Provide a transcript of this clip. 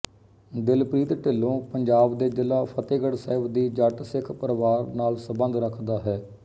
ਦਿਲਪ੍ਰੀਤ ਢਿੱਲੋਂ ਪੰਜਾਬ ਦੇ ਜ਼ਿਲਾ ਫ਼ਤੇਹਗੜ ਸਹਿਬ ਦੀ ਜੱਟ ਸਿੱਖ ਪਰਿਵਾਰ ਨਾਲ ਸੰਬਧ ਰੱਖਦਾ ਹੈ